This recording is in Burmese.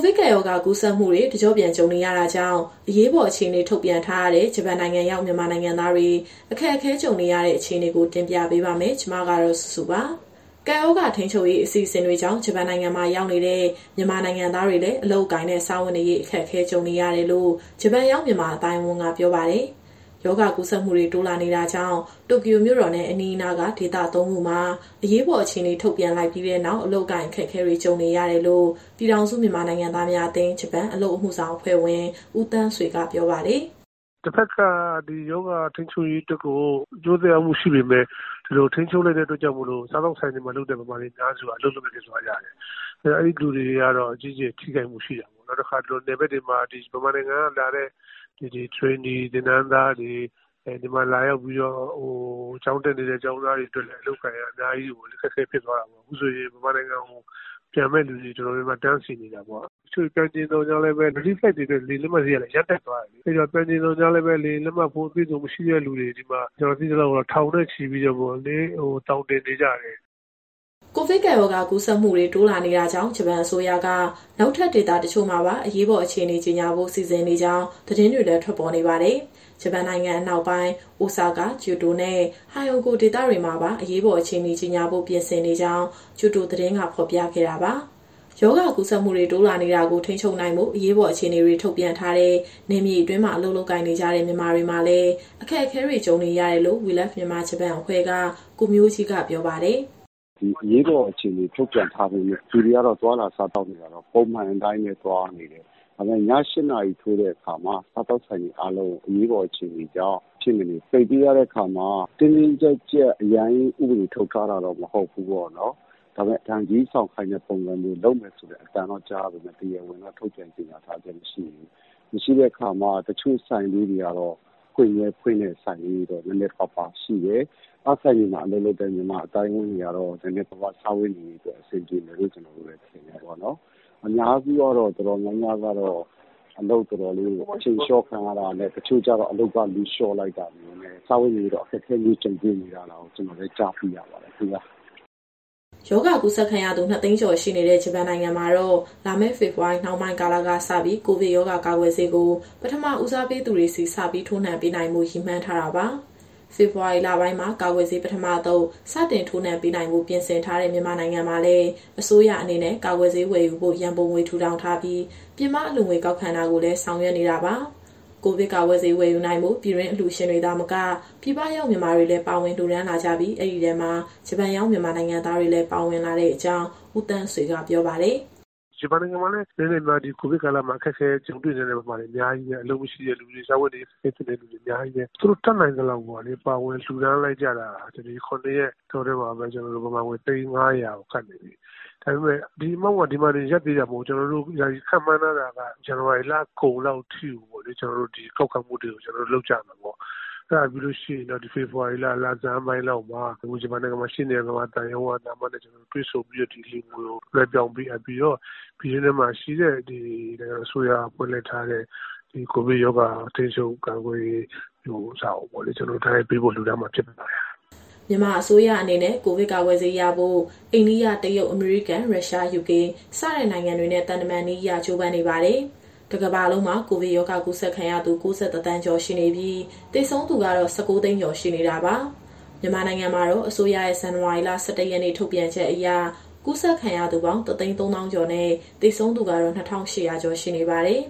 စ်ကပ်ရောဂါ ကူးစက်မှုတွေ တကျော့ပြန် ကြုံနေရတာကြောင့် အရေးပေါ် အခြေအနေ ထုတ်ပြန်ထားရတဲ့ ဂျပန်နိုင်ငံရောက် မြန်မာနိုင်ငံသားတွေ အခက်အခဲကြုံနေရတဲ့ အခြေအနေကို ဗွီအိုအေမြန်မာပိုင်းသတင်းထောက် မစုစုက တင်ပြပေးပါမယ်။ ကပ်ရောဂါထိန်းချုပ်ရေး အစီအစဉ်တွေကြောင့် ဂျပန်နိုင်ငံမှာ ရောက်နေတဲ့ မြန်မာနိုင်ငံသားတွေလည်း အလုပ်အကိုင်နဲ့ စားဝတ်နေရေး အခက်အခဲ ကြုံနေရတယ်လို့ ဂျပန်ရောက် မြန်မာအသိုင်းအဝန်းက ပြောပါတယ်။ ရောဂါကူးစက်မှုတွေ တိုးလာနေတာကြောင့် တိုကျိုမြို့တော်နဲ့ အနီးအနားက ဒေသ ၃ ခုမှာ အရေးပေါ်အခြေအနေ ထုတ်ပြန်လိုက်ပြီးနောက် အလုပ်အကိုင် အခက်အခဲတွေ ကြုံနေရတယ်လို့ ပြည်ထောင်စုမြန်မာနိုင်ငံသားများအသင်း (ဂျပန်) အလုပ်အမှုဆောင်အဖွဲ့ဝင် ဦးသန်းဆွေကပြောပါတယ်။ "တဘက်က ဒီရောဂါထိန်းချုပ်ရေးအတွက် အကျိုးသက်ရောက်မှုရှိပေမဲ့ ဒီလိုထိန်းချုပ်လိုက်တဲ့အတွက်ကြောင့်မို့ စားသောက်ဆိုင်တွေမှာလုပ်တဲ့ မြန်မာတွေအများစုက အလုပ်လက်မဲ့ဖြစ်သွားကြတယ်။ အဲဒီတာ့ အဲဒီလူတွေကတော့ အကြီးအကျယ်ထိခိုက်မှုရှိတာပေါ့။ နောက်တခါ နယ်ဘက်တွေမှာ မြန်မာနိုင်ငံကလာတဲ့ Training သင်တန်းသားတွေ၊ ဒီမှာလာပြီး ကျောင်းတက်နေတဲ့ ကျောင်းသားတွေအတွက်လည်း အလုပ်အကိုင်က အများကြီးအခက်အခဲဖြစ်သွားတာပေါ့။ အခုဆိုရင် မြန်မာနိုင်ငံကိုပြန်မယ့်သူတွေ တော်တော်များများတန်းစီနေတာပေါ့။ တချို့တွေပြန်ချင်သော်ငြားလည်းပဲ Relief Flight တွေအတွက် လေယာဉ်လက်မှတ်ဈေးကလည်း အရမ်းတက်သွားတယ်။ အဲဒီတော့ ပြန်ချင်သော်ငြားလည်းပဲ လေယာဉ်လက်မှတ်ဖိုး အပြည့်အစုံမရှိတဲ့သူတွေ ကျနော်သိသလောက်ကတော့ ဒီမှာထောင်နဲ့ချီပြီးတော့ သောင်တင်နေကြတယ်။" ကိုဗစ်ကပ်ရောဂါ ကူးစက်မှုတွေ တိုးလာနေတာကြောင့် ဂျပန်အစိုးရက နောက်ထပ် ဒေသတချို့မှာပါ အရေးပေါ် အခြေအနေ ကြေညာဖို့ စီစဉ်နေကြောင်း သတင်းတွေလည်း ထွက်ပေါ်နေပါတယ်။ ဂျပန်နိုင်ငံ အနောက်ပိုင်း အိုဆာကာ၊ ကျိုတိုနဲ့ ဟိုင်အိုဂို ဒေသတွေမှာပါ အရေးပေါ် အခြေအနေ ကြေညာဖို့ ပြင်ဆင်နေကြောင်း ကျိုဒိုသတင်းက ဖော်ပြခဲ့တာပါ။ ရောဂါကူးစက်မှုတွေ တိုးလာနေတာကို ထိန်းချုပ်နိုင်ဖို့ အရေးပေါ်အခြေအနေတွေ ထုတ်ပြန်ထားတဲ့ နယ်မြေအတွင်းမှာ အလုပ်လုပ်ကိုင်နေကြတဲ့ မြန်မာတွေမှာလည်း အခက်အခဲတွေ ကြုံလာနေရတယ်လို့ We Love Myanmar (Japan ) အဖွဲ့က ကိုမျိုးကြီးကပြောပါတယ်။ "ဒီအရေးပေါ် အခြေအနေထုတ်ပြန်ထားပေမဲ့ လူတွေကတော့ သွားလာစားသောက်နေတာကတော့ ပုံမှန်အတိုင်းပဲသွားနေတယ်။ ဒါပေမဲ့ ည ၈နာရီထိုးတဲ့အခါမှာ စားသောက်ဆိုင်အားလုံးကို အရေးပေါ်အခြေအနေကြောင့် မဖြစ်မနေပိတ်ပေးရတဲ့အခါမှာ တင်းတင်းကြပ်ကြပ် အရမ်းကြီး ဥပဒေထုတ်ထားတာမျိုးတော့ မဟုတ်ဘူးပေါ့နော်။ ဒါပေမဲ့ ဒဏ်ကြေးဆောင်ခိုင်းမယ်ဆိုတဲ့ အသံတော့ကြားရပေမဲ့ တရားဝင်ထုတ်ပြန်ထားခြင်းမရှိဘူး။ မရှိတဲ့အခါမှာ တချို့ဆိုင်လေးတွေကတော့ ဖွင့်မြဲဖွင့်တဲ့ဆိုင်လေးတွေတော့ နည်းနည်းပါးပါးရှိတယ်။ အဲဒီဆိုင်တွေမှာ အလုပ်လုပ်တဲ့ မြန်မာအသိုင်းအဝန်းတွေကတော့ နည်းနည်းပါးပါးစားဝတ်နေရေးအတွက် အဆင်ပြေမယ်လို့ ထင်တယ်ပေါ့နော်။ အများစုကတော့ တော်တော်များများကတော့ အလုပ်ချိန်လျှော့ခံရတာနဲ့ တချို့ကျတော့ အလုပ်ကလူလျှော့လိုက်တာနဲ့ စားဝတ်နေရေးအခက်အခဲ ကြုံတွေ့နေရတာတော့ ကျနော်တို့လည်း ကြားသိရပါတယ်။" ရောဂါကူးစက်ခံရသူ ၂၀၀,၀၀၀ ကျော်ရှိနေတဲ့ ဂျပန်နိုင်ငံမှာတော့ လာမယ့်ဖေဖော်ဝါရီနှောင်းပိုင်းကာလကစပြီး ကိုဗစ်ရောဂါကာကွယ်ဆေးကို ပထမဦးစားပေးထားသူတွေဆီ ထိုးနှံပေးနိုင်ဖို့ ရည်မှန်းထားတာပါ။ ဖေဖော်ဝါရီလပိုင်းမှာ ကာကွယ်ဆေးပထမအသုတ် စတင်ထိုးနှံပေးနိုင်ဖို့ ပြင်ဆင်ထားတဲ့ မြန်မာနိုင်ငံမှာလည်း အစိုးရအနေနဲ့ ကာကွယ်ဆေးဝယ်ယူဖို့ ရန်ပုံငွေ ထူထောင်ထားပြီး၊ ပြင်ပအလှူငွေကောက်ခံတာကိုလည်း ဆောင်ရွက်နေတာပါ။ ကိုဗစ်ကာကွယ်ဆေးဝယ်ယူနိုင်ဖို့ ပြည်တွင်းအလှူရှင်တွေသာမက၊ ပြည်ပရောက်မြန်မာတွေလည်း ပါဝင်လှူဒါန်းလာကြပြီး၊ အဲဒီထဲမှာ ဂျပန်ရောက်မြန်မာနိုင်ငံသားတွေလည်း ပါဝင်လာတဲ့အကြောင်း ဦးသန်းဆွေကပြောပါတယ်။ "ဂျပန်နိုင်ငံမှာလည်း အနည်းနဲ့အများ ဒီကိုဗစ်ကာလမှာ အခက်အခဲကြုံတွေ့နေရတဲ့ အလုပ်မရှိတဲ့သူတွေ၊ စားဝတ်နေရေးအခက်အခဲဖြစ်တဲ့ မြန်မာတွေအများကြီးပဲ။ သူတို့တတ်နိုင်သလောက်ပေါ့လေ ပါဝင်လှူဒါန်းလိုက်ကြတာ ဒီ ၇ ရက် အတောအတွင်းမှာပဲ မြန်မာငွေ သိန်း ၅၀၀ ကပ်နေပြီ။ ဒါပေမဲ့ ဒီပမာဏက ဒီမှာတင်ရပ်သေးတာ မဟုတ်ဘူး။ ကျနော်တို့ အခုယာယီခန့်မှန်းထားတာက ဇန်နဝါရီလကုန်လောက်အထိကို အလှူငွေကောက်ခံမှုတွေလုပ်ကြမယ်ပေါ့။ အဲဒါပြီးရင် ဖေဖော်ဝါရီလဆန်းလောက်မှာ ဂျပန်မှာရှိတဲ့ မြန်မာသံရုံးက သံအမတ်နဲ့တွေ့ဆုံပြီးတော့ ဒီအလှူငွေကိုလွှဲပြောင်းပေးအပ်ပြီးတော့ ပြည်တွင်းထဲမှာရှိတဲ့ နိုင်ငံတော်အစိုးရကဖွဲ့ထားတဲ့ ကိုဗစ်ဗဟိုကော်မတီကို လှူဒါန်းမှာဖြစ်ပါတယ်။" မြန်မာအစိုးရအနေနဲ့ ကိုဗစ်ကာကွယ်ဆေးရဖို့ အိန္ဒိယ၊ တရုတ်၊ အမေရိကန်၊ ရုရှား၊ ယူကေစတဲ့ နိုင်ငံတွေနဲ့ သံတမန်နည်းအရ ကြိုးပမ်းနေပါတယ်။ တကမ္ဘာလုံးမှာ ကိုဗစ်ရောဂါကူးစက်ခံရသူ ၉၁ သန်းကျော်ရှိနေပြီး၊ သေဆုံးသူကတော့ ၁၉ သိန်းကျော်ရှိနေတာပါ။ မြန်မာနိုင်ငံမှာတော့ အစိုးရရဲ့ ဇန်နဝါရီလ ၁၁ ရက်နေ့ထုတ်ပြန်ချက်အရ ကူးစက်ခံရသူပေါင်း ၁၃၀,၀၀၀ ကျော်နဲ့ သေဆုံးသူ ၂,၈၀၀ ကျော်ရှိနေပါတယ်